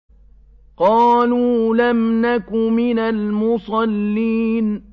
قَالُوا لَمْ نَكُ مِنَ الْمُصَلِّينَ